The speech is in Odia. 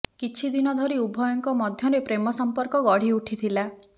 କିଛି ଦିନ ଧରି ଉଭୟଙ୍କ ମଧ୍ୟରେ ପ୍ରେମ ସଂପର୍କ ଗଢିଉଠିଥିଲା